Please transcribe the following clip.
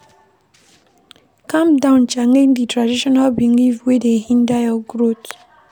Calm down challenge di traditional belief wey dey hinder your growth